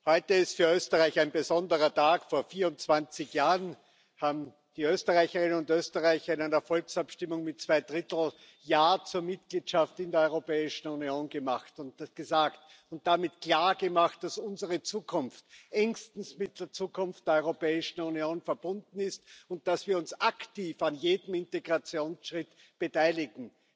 Heute ist für Österreich ein besonderer Tag Vor 24 Jahren haben die Österreicherinnen und Österreicher in einer Volksabstimmung mit Zwei Drittel Mehrheit Ja zur Mitgliedschaft in der Europäischen Union gesagt und damit klargemacht, dass unsere Zukunft engstens mit der Zukunft der Europäischen Union verbunden ist und dass wir uns aktiv an jedem Integrationsschritt beteiligen.